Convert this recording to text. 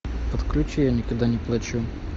подключи я никогда не плачу